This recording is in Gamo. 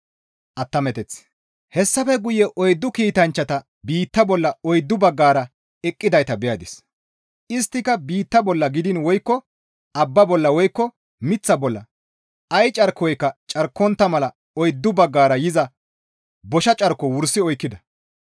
Hessafe guye oyddu kiitanchchata biitta bolla oyddu baggara eqqidayta beyadis; isttika biitta bolla gidiin woykko abba bolla woykko miththa bolla ay carkoyka carkontta mala oyddu baggara yiza bosha carko wursi oykkida.